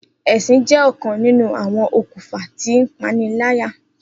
Esin jẹ ọkan ninu awọn okunfa ti ipanilaya.